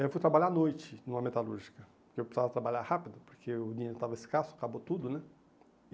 Eu fui trabalhar à noite numa metalúrgica, porque eu precisava trabalhar rápido, porque o dinheiro estava escasso, acabou tudo, né?